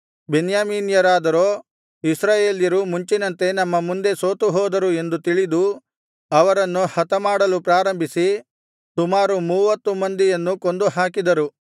ಬೆನ್ಯಾಮೀನ್ಯರಾದರೋ ಇಸ್ರಾಯೇಲ್ಯರು ಮುಂಚಿನಂತೆ ನಮ್ಮ ಮುಂದೆ ಸೋತುಹೋದರು ಎಂದು ತಿಳಿದು ಅವರನ್ನು ಹತಮಾಡಲು ಪ್ರಾರಂಭಿಸಿ ಸುಮಾರು ಮೂವತ್ತು ಮಂದಿಯನ್ನು ಕೊಂದುಹಾಕಿದರು